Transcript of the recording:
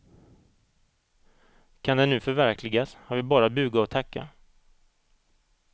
Kan den nu förverkligas har vi bara att buga och tacka.